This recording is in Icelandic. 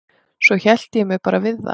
Svo hélt ég mér bara við það.